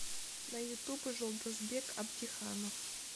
на ютуб жолдасбек абдиханов